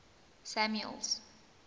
samuel's